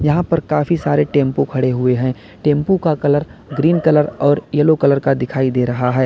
यहां पर काफी सारे टेंपो खड़े हुए हैं टेंपो का कलर ग्रीन कलर और येलो कलर का दिखाई दे रहा है।